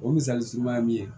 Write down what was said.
O misali sumaya min ye